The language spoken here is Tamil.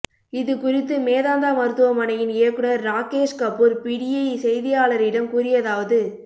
இதுகுறித்து மேதாந்தா மருத்துவமனையின் இயக்குநா் ராகேஷ் கபூா் பிடிஐ செய்தியாளரிடம் கூறியதாவது